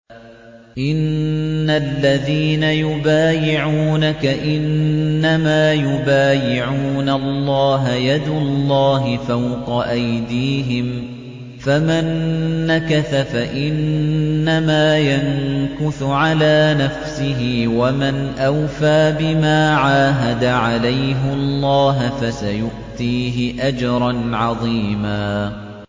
إِنَّ الَّذِينَ يُبَايِعُونَكَ إِنَّمَا يُبَايِعُونَ اللَّهَ يَدُ اللَّهِ فَوْقَ أَيْدِيهِمْ ۚ فَمَن نَّكَثَ فَإِنَّمَا يَنكُثُ عَلَىٰ نَفْسِهِ ۖ وَمَنْ أَوْفَىٰ بِمَا عَاهَدَ عَلَيْهُ اللَّهَ فَسَيُؤْتِيهِ أَجْرًا عَظِيمًا